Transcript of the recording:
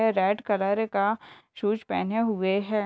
Red colour का shoes पहने हुए है।